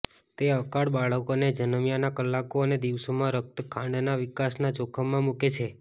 તે અકાળ બાળકોને જન્મ્યાના કલાકો અને દિવસોમાં રક્ત ખાંડના વિકાસના જોખમમાં મૂકે છે